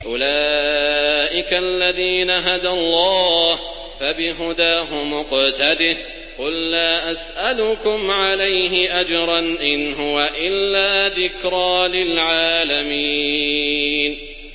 أُولَٰئِكَ الَّذِينَ هَدَى اللَّهُ ۖ فَبِهُدَاهُمُ اقْتَدِهْ ۗ قُل لَّا أَسْأَلُكُمْ عَلَيْهِ أَجْرًا ۖ إِنْ هُوَ إِلَّا ذِكْرَىٰ لِلْعَالَمِينَ